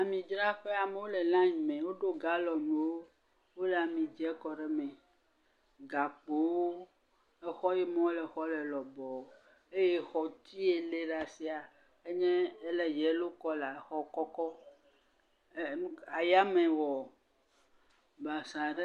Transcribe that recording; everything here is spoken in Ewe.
Amidzraƒe amewo le line me woɖo galɔnwo, wole ami dze kɔɖe me. Gakpowo, exɔ yime wole exɔ le lɔbɔɔ eye exɔti yie le ɖ'asia enye, ele yɛlo kɔla exɔ kɔkɔ. Ayame wɔ basaa ɖe.